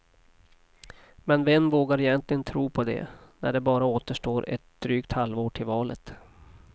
Men vem vågar egentligen tro på det, när det bara återstår ett drygt halvår till valet.